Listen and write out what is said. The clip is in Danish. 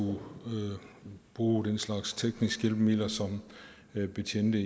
bruge den slags tekniske hjælpemidler som betjente